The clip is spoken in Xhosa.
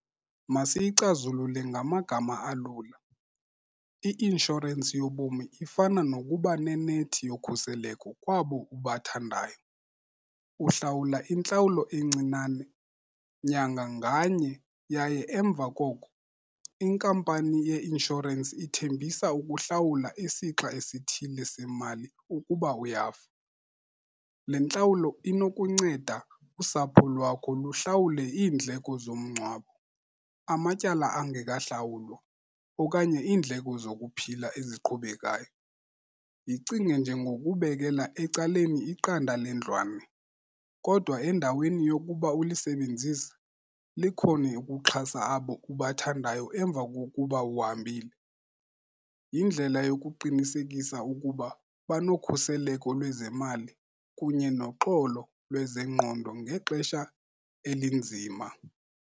Masiyicazulule ngamagama alula, i-inshorensi yobomi ifana nokuba nenethi yokhuseleko kwabo ubathandayo. Uhlawula intlawulo encinane nyanga nganye yaye emva koko inkampani ye-inshorensi ithembisa ukuhlawula isixa esithile semali ukuba uyafa. Le ntlawulo inokunceda usapho lwakho luhlawule iindleko zomngcwabo, amatyala angekahlawulwa okanye iindleko zokuphila eziqhubekayo. Yicinge njengokubekela ecaleni iqanda lendlwalo kodwa endaweni yokuba ulisebenzise likhone ukuxhasa abo ubathandayo emva kokuba uhambile. Yindlela yokuqinisekisa ukuba banokhuseleko lwezemali kunye noxolo lwezengqondo ngexesha elinzima.